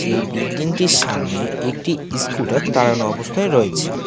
এই বিল্ডিংটির সামনে একটি ইস্কুটার দাঁড়ানো অবস্থায় রয়েছে।